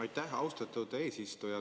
Aitäh, austatud eesistuja!